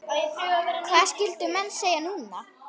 Hvað skyldu menn segja núna?